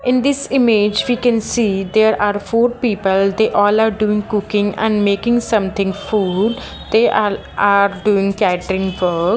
in this image we can see there are four people they all are doing cooking and making something food they are are doing catering work .